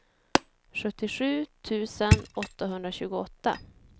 sjuttiosju tusen åttahundratjugoåtta